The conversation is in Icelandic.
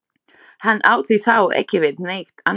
Hann átti þá ekki við neitt annað.